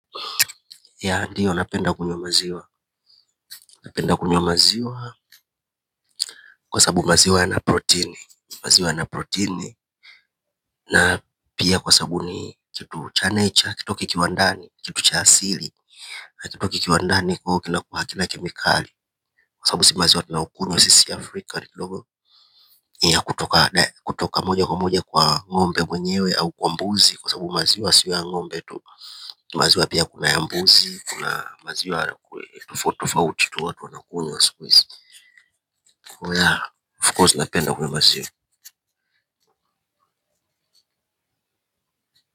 Ya ndio napenda kunywa maziwa, napenda kunywa maziwa kwa sababu maziwa ya na proteini na pia kwa sababu ni kitu cha nature kitu kikiwa ndani kitu cha asili na kitu kikiwa ndani kuwa hakina kemikali kwa sababu si maziwa tunayo kunywa sisi Afrika ni ya kutoka kutoka moja kwa moja kwa ngombe mwenyewe au kwa mbuzi kwa sababu maziwa sio ya ngombe tu maziwa pia kuna ya mbuzi kuna maziwa hana tofauti tofauti tu watu wana kunywa siku hizi kwa ya of course napenda kunywa maziwa.